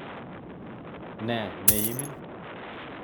Ne neimin?